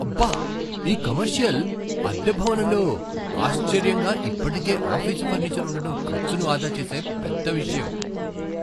అబ్బ! ఈ కమర్షియల్ అద్దె భవనంలో ఆశ్చర్యంగా ఇప్పటికే ఆఫీసు ఫర్నిచర్ ఉండటం ఖర్చును ఆదా చేసే పెద్ద విషయం.